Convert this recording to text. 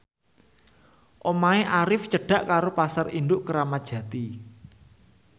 omahe Arif cedhak karo Pasar Induk Kramat Jati